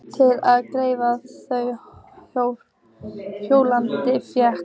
Til að gleðja þau hjónin fékk